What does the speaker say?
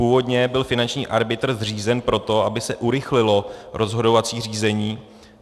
Původně byl finanční arbitr zřízen proto, aby se urychlilo rozhodovací řízení.